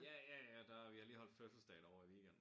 Ja ja ja der vi har lige holdt fødselsdag derovre i weekenden